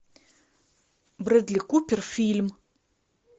брэдли купер фильм